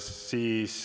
V a h e a e g